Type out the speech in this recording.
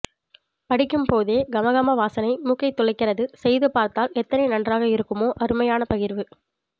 படிக்கும்போகே கம கம வாசனை மூக்கைத் துளைக்கிறது செய்து பார்த்தால் எத்த்னை நன்றாக இருக்குமோ அருமையான் பகிர்வு